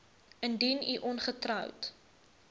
indien u ongetroud